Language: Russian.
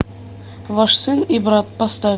ваш сын и брат поставь